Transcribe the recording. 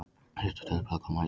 Síðasta tölublaðið kom út í dag